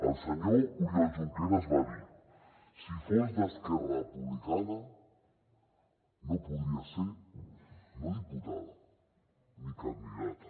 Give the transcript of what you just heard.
el senyor oriol junqueras va dir si fos d’esquerra republicana no podria ser no diputada ni candidata